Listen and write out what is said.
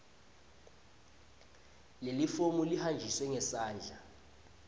lelifomu lihanjiswe ngesandla